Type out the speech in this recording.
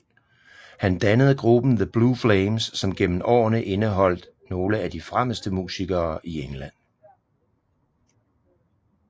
Han dannede gruppen The Blue Flames som gennem årene indeholdte nogle af de fremmeste musikere i England